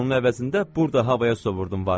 Onun əvəzində burda havaya sovurdum varımı.